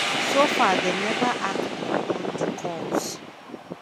so far dem never act upon di calls.